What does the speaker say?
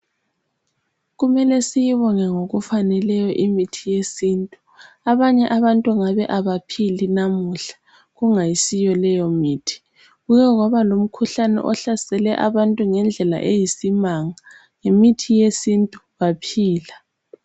Kumele siyibonge ngokufaneleyo imithi yesintu abanye abantu ngabe abaphili namuhla kungayisiyo leyo mithi kuke kwaba lomikhuhlane ohlasele abantu ngendlela eyisimanga ngemithi yesintu baphila.